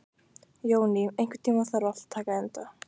Jóný, einhvern tímann þarf allt að taka enda.